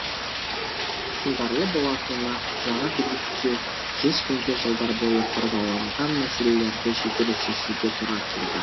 сындарлы болатыны жаңа билікке жүз күнде жылдар бойы қордаланған мәселелерді жедел шешуге тура келді